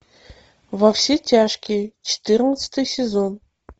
во все тяжкие четырнадцатый сезон